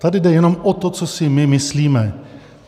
Tady jde jenom o to, co si my myslíme.